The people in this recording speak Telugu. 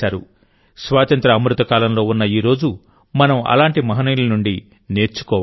స్వాతంత్య్ర అమృతకాలంలో ఉన్న ఈ రోజు మనం అలాంటి మహనీయుల నుండి నేర్చుకోవాలి